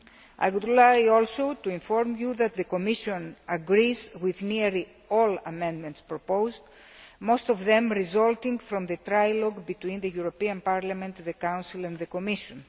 I would like also to inform you that the Commission agrees with nearly all the amendments proposed, most of them resulting from the trilogue between the European Parliament, the Council and the Commission.